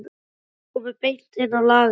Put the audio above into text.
Þau komu beint inn á lagerinn.